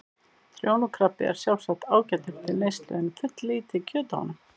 Trjónukrabbi er sjálfsagt ágætur til neyslu en fulllítið kjöt á honum.